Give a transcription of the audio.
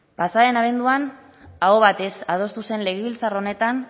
pasa den abenduan aho batez adostu zen legebiltzar honetan